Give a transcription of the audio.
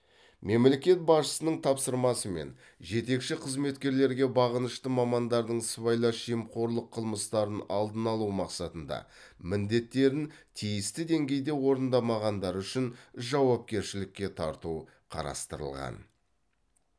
мемлекет басшысының тапсырмасымен жетекші қызметкерлерге бағынышты мамандардың сыбайлас жемқорлық қылмыстарын алдын алу мақсатында міндеттерін тиісті деңгейде орындамағандары үшін жауапкершілікке тарту қарастырылған